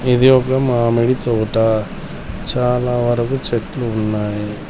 ఇది ఒక మామిడి తోట చాలా వరకు చెట్లు ఉన్నాయి.